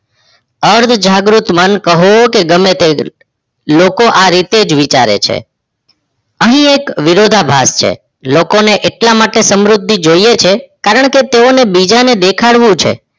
અર્ધ-જાગ્રુત મન કહો કે ગમે તેમ લોકો આ રીતે જ વિચારે છે. અહિ એક વિરોધભાષ છે લોકો ને એટલા માટે સમૃદ્ધિ જોયે છે કારણકે તેઓને બીજાને દેખાડવુ છે.